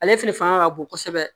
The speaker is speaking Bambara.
Ale fɛnɛ fanga ka bon kosɛbɛ